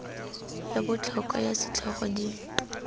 ya botlhokwa ya setlhogo di